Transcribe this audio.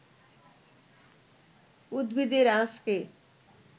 উদ্ভিদের আঁশকে